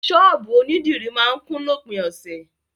Sọ́ọ̀bù onídìrí máa ń kún lópin ọ̀sẹ̀.